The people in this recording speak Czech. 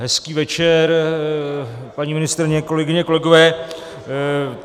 Hezký večer, paní ministryně, kolegyně, kolegové.